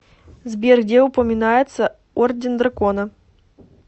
сбер где упоминается орден дракона